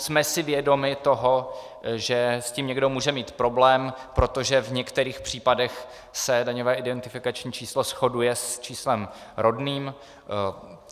Jsme si vědomi toho, že s tím někdo může mít problém, protože v některých případech se daňové identifikační číslo shoduje s číslem rodným.